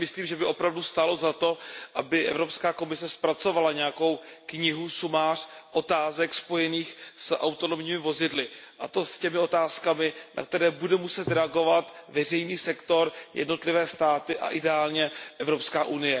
Já si myslím, že by opravdu stálo za to, aby Evropská komise zpracovala nějakou knihu, nějaké shrnutí otázek spojených s autonomními vozidly, a to těch otázek, na které bude muset reagovat veřejný sektor, jednotlivé státy a ideálně EU.